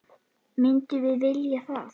Myndum við vilja það?